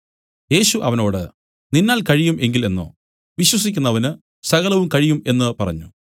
യേശു അവനോട് നിന്നാൽ കഴിയും എങ്കിൽ എന്നോ വിശ്വസിക്കുന്നവന് സകലവും കഴിയും എന്നു പറഞ്ഞു